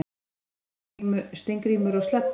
Steingrímur og Sledda,